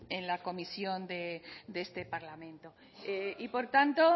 en la comisión de este parlamento por tanto